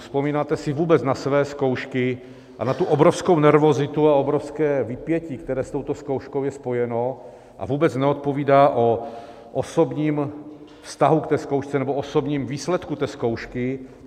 Vzpomínáte se vůbec na své zkoušky a na tu obrovskou nervozitu a obrovské vypětí, které s touto zkouškou je spojeno a vůbec nevypovídá o osobním vztahu k té zkoušce nebo osobním výsledku té zkoušky?